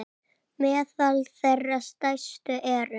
Meðal þeirra stærstu eru